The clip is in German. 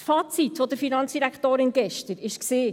Das Fazit der Finanzdirektorin war gestern: